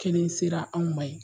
Kelen sera anw ma yen